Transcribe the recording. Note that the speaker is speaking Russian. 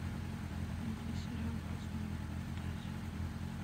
найди сериал последняя фантазия